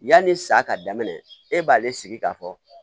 Yanni sa ka daminɛ e b'ale sigi k'a fɔ